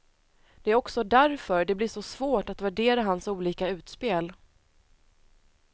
Det är också därför det blir så svårt att värdera hans olika utspel.